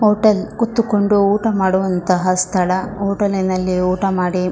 hotel ಕೂತುಕೊಂಡು ಊಟ ಮಾಡುವಂತಹ ಸ್ಥಳ ಹೋಟೆಲ್ ನಲ್ಲಿ ಊಟ ಮಾಡಿ --